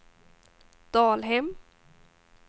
Dalhem